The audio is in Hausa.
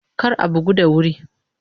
Kar a bugu da wuri!